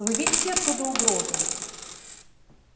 вы видите оттуда угрозу